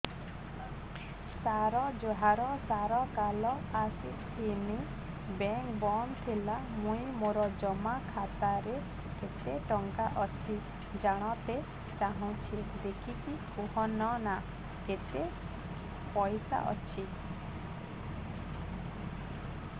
ସାର ଜୁହାର ସାର କାଲ ଆସିଥିନି ବେଙ୍କ ବନ୍ଦ ଥିଲା ମୁଇଁ ମୋର ଜମା ଖାତାରେ କେତେ ଟଙ୍କା ଅଛି ଜାଣତେ ଚାହୁଁଛେ ଦେଖିକି କହୁନ ନା କେତ ପଇସା ଅଛି